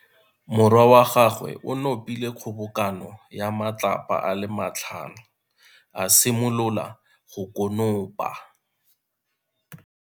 Morwa wa gagwe o nopile kgobokano ya matlapa a le tlhano, a simolola go konopa.